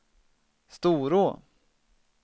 Storå